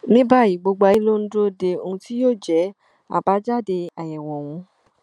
ní báyìí gbogbo ayé ló ń dúró de ohun tí yóò jẹ àbájáde àyẹwò ọhún